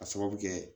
A sababu kɛ